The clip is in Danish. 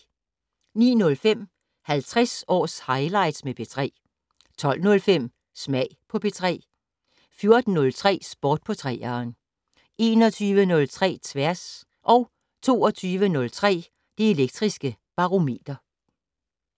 09:05: 50 års highlights med P3 12:05: Smag på P3 14:03: Sport på 3'eren 21:03: Tværs 22:03: Det Elektriske Barometer